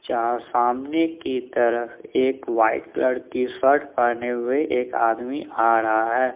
क्या सामने की तरफ एक वाइट लड़की कलर शर्ट पहने हुए एक आदमी आ रहा है।